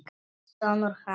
Sonur hans!